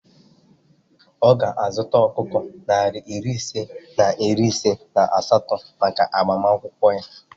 Ọ ga-azụta ọkụkọ narị ise na iri ise na asatọ maka agbamakwụkwọ ya